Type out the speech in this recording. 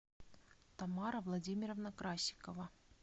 тамара владимировна красикова